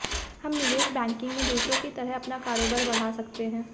हम निवेश बैंकिंग में दूसरों की तरह अपना कारोबार बढ़ा सकते हैं